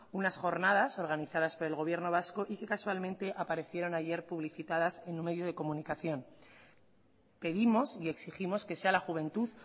unas jornadas organizadas por el gobierno vasco y que casualmente aparecieron ayer publicitadas en un medio de comunicación pedimos y exigimos que sea la juventud